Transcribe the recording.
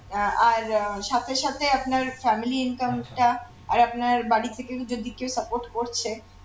আহ আর সাথে সাথে আপনার family income টা আর আপনার বাড়ি থেকে যদি কেউ support করছে